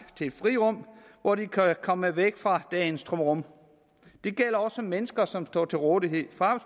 til et frirum hvor de kan komme væk fra dagens trummerum det gælder også mennesker som står til rådighed for